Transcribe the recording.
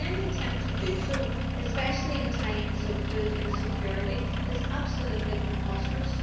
Any attempt to do so, especially in times of food insecurity, is absolutely preposterous.